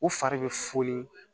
U fari bɛ funu